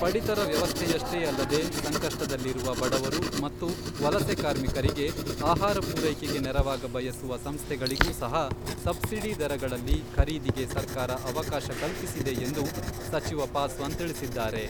ಪಡಿತರ ವ್ಯವಸ್ಥೆಯಷ್ಟೇ ಅಲ್ಲದೇ ಸಂಕಷ್ಟದಲ್ಲಿರುವ ಬಡವರು ಮತ್ತು ವಲಸೆ ಕಾರ್ಮಿಕರಿಗೆ ಆಹಾರ ಪೂರೈಕೆಗೆ ನೆರವಾಗ ಬಯಸುವ ಸಂಸ್ಥೆಗಳಿಗೂ ಸಹ ಸಬ್ಸಿಡಿ ದರಗಳಲ್ಲಿ ಖರೀದಿಗೆ ಸರ್ಕಾರ ಅವಕಾಶ ಕಲ್ಪಿಸಿದೆ ಎಂದು ಸಚಿವ ಪಾಸ್ವಾನ್ ತಿಳಿಸಿದ್ದಾರೆ.